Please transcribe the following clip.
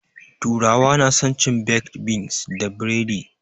Turawa na san cin baked beans da buredi